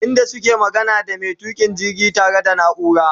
inda suke magana da maintuka jirgi ta re da naura